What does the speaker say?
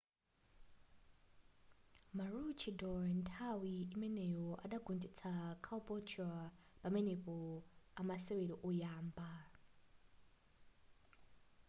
maroochydore nthawi imeneyo adagonjetsa caboolture pamapeto amasewero oyamba